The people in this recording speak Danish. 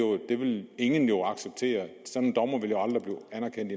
ingen jo acceptere sådan